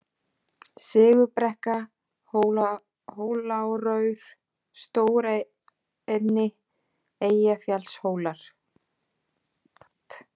Sigurðarbrekka, Hóláraur, Stóraenni, Eyjafjallshólar